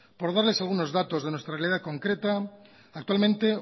por darles algunos datos de nuestra realidad concreta actualmente